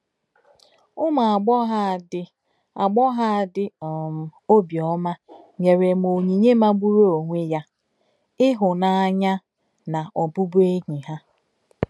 Ụ́mù àgbọ́ghọ̀ à dì àgbọ́ghọ̀ à dì um òbíọ́má nyèrè m ònyínye màgbùrù onwé yà — ìhùnáàyá nà òbụ̀bụ̀ẹ́nyí hà.